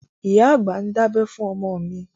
Ìyá àgbà ń dábẹ́ fún ọmọ mi